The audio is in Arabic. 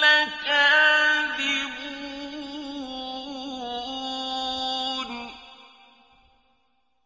لَكَاذِبُونَ